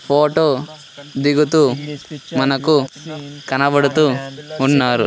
Photo దిగుతూ మనకు కనబడుతూ ఉన్నారు.